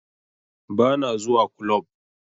Ba na zuwa kulob